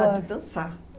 Ah, de dançar.